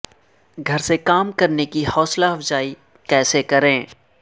گھر سے کام کرنے کی حوصلہ افزائی کیسے کریں